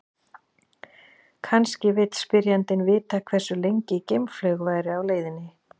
Kannski vill spyrjandinn vita hversu lengi geimflaug væri á leiðinni.